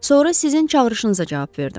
Sonra sizin çağırışınıza cavab verdim.